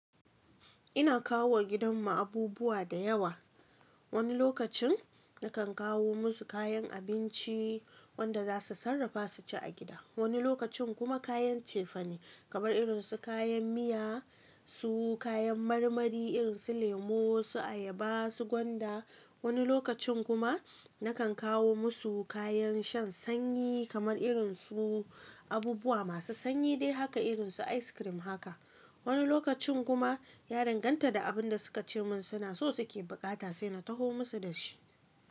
Ina kawowa gidan mu abubuwa da yawa. Wani lokacin na kan kawo musu kayan abinci wanda za su sarrafa su ci a gida. Wani lokacin kuma kayan cefane kamar irin su kayan miya su kayan marmari irin su lemo su ayaba su gwanba. Wani lokacin kuma na kan kawo musu kayan shan sanyi kamar irin su abubuwa masu sanyi dai haka irin su ice cream haka. Wani lokacin kuma ya danganta da abinda suka ce mun suna buƙata sai na taho masu dashi.